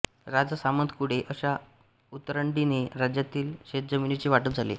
राजा सामंत कुळे अशा उतरंडीने राज्यातील शेतजमिनीचे वाटप झाले